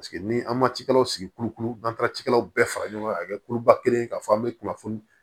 ni an ma cikɛlaw sigi kulukulu n'an taara cikɛlaw bɛɛ fara ɲɔgɔn kan ka kɛ kuluba kelen ye k'a fɔ an bɛ kunnafoni